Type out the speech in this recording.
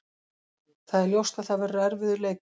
Það er ljóst að það verður erfiður leikur.